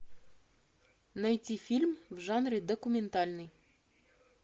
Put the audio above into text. найти фильм в жанре документальный